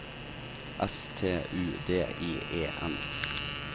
S T U D I E N